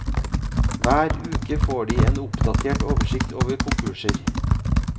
Hver uke får de en oppdatert oversikt over konkurser.